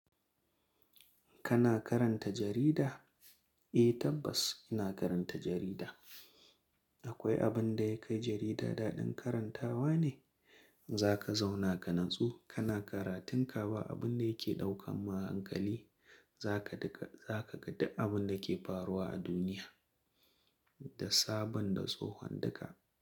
Kana karanta jarida? Eh tabbas ina karanta jarida. Akwai abin da ya kai jarida daɗin karantawa ne. Zaka zauna ka natsu, kana karatun ka ba abun da yake ɗaukan ma hankali. Zaka dika, zaka ga duk abin da ke faruwa a duniya da sabon da tsohon duka.